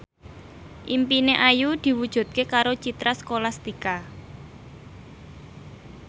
impine Ayu diwujudke karo Citra Scholastika